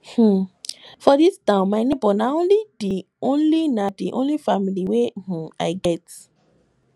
um for dis town my nebor na di only na di only family wey um i get